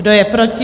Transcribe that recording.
Kdo je proti?